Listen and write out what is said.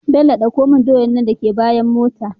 Bello ɗauko mun doyar nan daka bayan mota